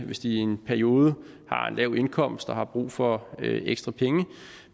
hvis de i en periode har lav indkomst og har brug for ekstra penge